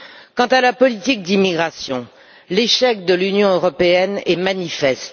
Quant à la politique d'immigration, l'échec de l'Union européenne est manifeste.